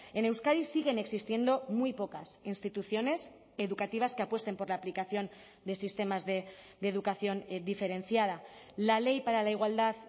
en euskadi siguen existiendo muy pocas instituciones educativas que apuesten por la aplicación de sistemas de educación diferenciada la ley para la igualdad